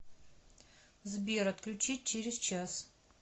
сбер отключить через час